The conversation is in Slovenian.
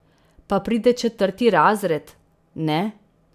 Pa pride četrti razred, ne?